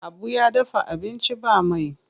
Habu ya dafa abinci ba mai.